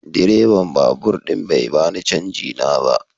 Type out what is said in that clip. Direban babur din bai bani canji na ba.